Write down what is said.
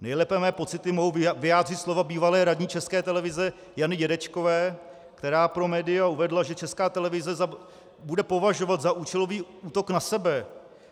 Nejlépe mé pocity mohou vyjádřit slova bývalé radní České televize Jany Dědečkové, která pro média uvedla, že Česká televize bude považovat za účelový útok na sebe